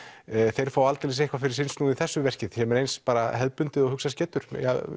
þeir fá aldeilis eitthvað fyrir sinn snúð í þessu verki sem er eins hefðbundið og hugsast getur